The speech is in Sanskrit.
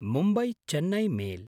मुम्बय्–चेन्नै मेल्